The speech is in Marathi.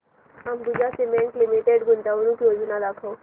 अंबुजा सीमेंट लिमिटेड गुंतवणूक योजना दाखव